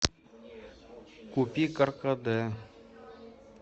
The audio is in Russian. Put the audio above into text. купи каркаде